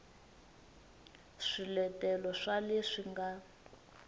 b swiletelo swa leswi nga